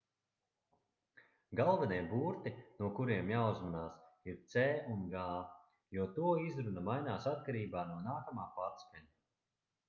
galvenie burti no kuriem jāuzmanās ir c un g jo to izruna mainās atkarībā no nākamā patskaņa